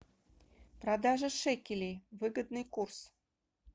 продажа шекелей выгодный курс